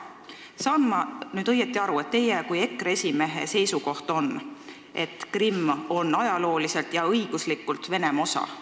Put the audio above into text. Kas ma saan nüüd õigesti aru, et teie kui EKRE esimehe seisukoht on, et Krimm on ajalooliselt ja õiguslikult Venemaa osa?